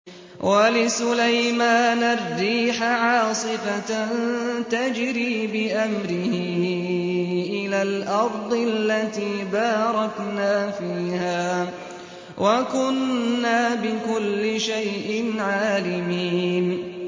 وَلِسُلَيْمَانَ الرِّيحَ عَاصِفَةً تَجْرِي بِأَمْرِهِ إِلَى الْأَرْضِ الَّتِي بَارَكْنَا فِيهَا ۚ وَكُنَّا بِكُلِّ شَيْءٍ عَالِمِينَ